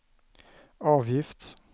avgift